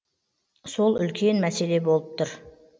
сол үлкен мәселе болып тұр